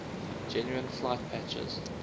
genuine flight patches